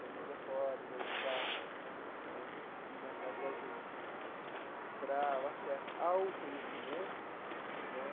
da Neuza Poli, da EDUCAFRO né, e mais tarde, da gente, para o acesso ao conhecimento né.